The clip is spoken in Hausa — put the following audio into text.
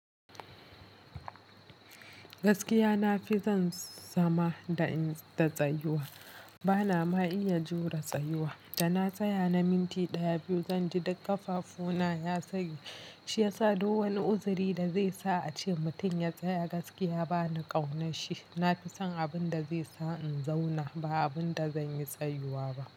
Gaskiya na fi son zama da in ta tsayuwa. Bana ma iya jure tsayuwa. Da na tsaya na minti ɗaya biyu, zan ji duk ƙafafu na ya tsage. Shi ya sa ko wane uziri da zai sa a ce mutum ya tsaya gaskiya bana ƙaunashi. Na fi son abin da zai sa in zauna ba abin da zan yi tsayuwa ba.